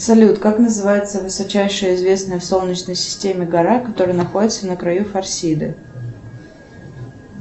салют как называется высочайшая известная в солнечной системе гора которая находится на краю форсиды